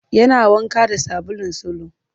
Yana wanka da sabulun salo